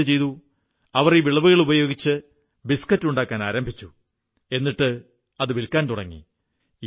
അവർ എന്തു ചെയ്തു അവർ ഈ വിളവുകളുപയോഗിച്ച് ബിസ്കറ്റ് ഉണ്ടാക്കാനാരംഭിച്ചു എന്നിട്ട് അത് വില്ക്കാൻ തുടങ്ങി